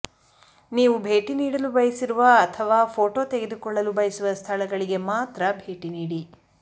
ನೀವು ಭೇಟಿ ನೀಡಲು ಬಯಸಿರುವ ಅಥವಾ ಫೋಟೋ ತೆಗೆದುಕೊಳ್ಳಲು ಬಯಸುವ ಸ್ಥಳಗಳಿಗೆ ಮಾತ್ರ ಭೇಟಿ ನೀಡಿ